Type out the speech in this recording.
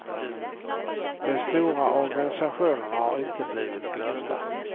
De stora organisationerna har inte blivit glömda.